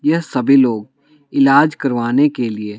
यह सभी लोग इलाज करवाने के लिए--